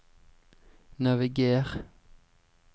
naviger